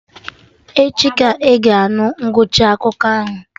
Echi ka ị ga-anụ ngwụcha akụkọ ahụ